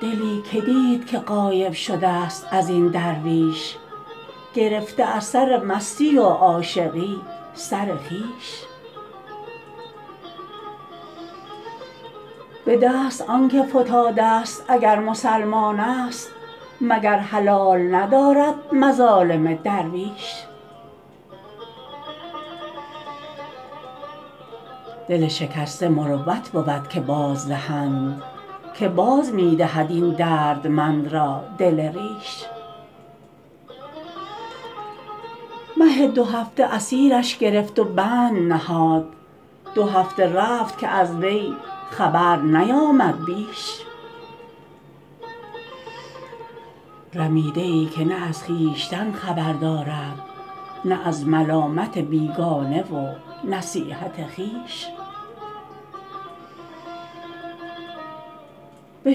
دلی که دید که غایب شده ست از این درویش گرفته از سر مستی و عاشقی سر خویش به دست آن که فتاده ست اگر مسلمان است مگر حلال ندارد مظالم درویش دل شکسته مروت بود که بازدهند که باز می دهد این دردمند را دل ریش مه دوهفته اسیرش گرفت و بند نهاد دو هفته رفت که از وی خبر نیامد بیش رمیده ای که نه از خویشتن خبر دارد نه از ملامت بیگانه و نصیحت خویش به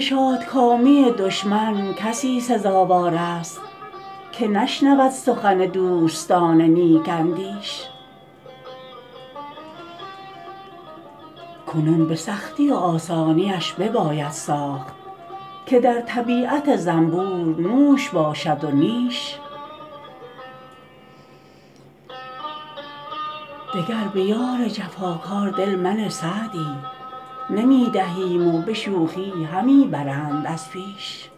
شادکامی دشمن کسی سزاوار است که نشنود سخن دوستان نیک اندیش کنون به سختی و آسانیش بباید ساخت که در طبیعت زنبور نوش باشد و نیش دگر به یار جفاکار دل منه سعدی نمی دهیم و به شوخی همی برند از پیش